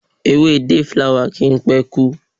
Ewé day flower kì í pé kú.